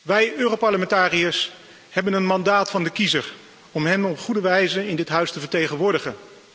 Wij Europarlementariërs hebben een mandaat van de kiezer om hem op een goede wijze in dit huis te vertegenwoordigen.